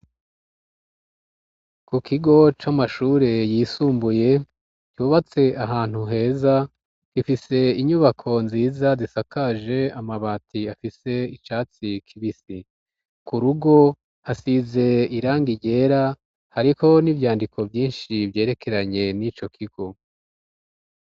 Ku kigo c'amashure yisumbuye cubatse ahantu heza gifise inyubako nziza zisakaje amabati afise icatsi kibisi, ku rugo hasize irangi ryera hariko n'ivyandiko vyinshi vyerekeranye n'ico kigo.